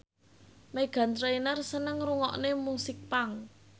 Meghan Trainor seneng ngrungokne musik punk